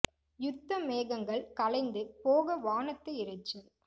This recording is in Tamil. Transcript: யுத்த மேகங்கள் கலைந்து போக வானத்து இரைச்சல்